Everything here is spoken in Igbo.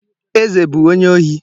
Eze bụ onye ohi.